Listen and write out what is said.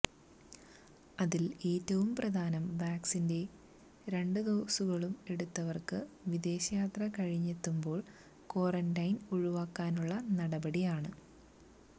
അതിൽ ഏറ്റവും പ്രധാനം വാക്സിന്റെ രണ്ടു ഡോസുകളും എടുത്തവർക്ക് വിദേശയാത്ര കഴിഞ്ഞെത്തുമ്പോൾ ക്വാറന്റൈൻ ഒഴിവാക്കാനുള്ള നടപടിയാണ്